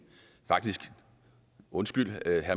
undskyld